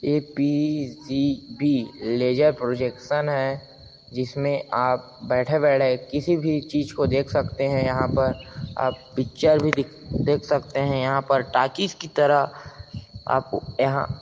ए. P. G. B. Laser projection है जिसमें आप बैठे-बैठे किसी भी चीज को देख सकते है यहाँ पर आप पिक्चर भी देख सकते है यहाँ पर टॉकीज की तरह‌ आप यहाँ--